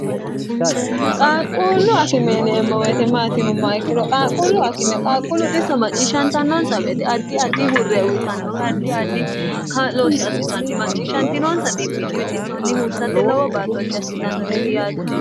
qaaqquullu akimeeneemmo weetemaatinumma ikkiro qaaqquullu akime qaaqqullu xisso macciishshantannoonsa beete addi addi hurre uyitannowe addi addi ka'looshsh assitanni macciishshantinoonsa xbbinni wixissonni huursate lowo baatooshshi assitannoreeti yaate